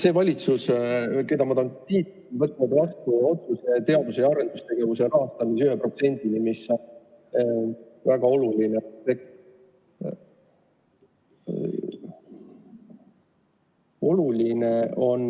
See valitsus, keda ma tahan kiita, on võtnud vastu otsuse tõsta teadus- ja arendustegevuse rahastamise 1%-ni SKT-st, mis on väga oluline.